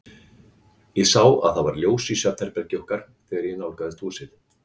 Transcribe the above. Ég sá að það var ljós í svefnherbergi okkar, þegar ég nálgaðist húsið.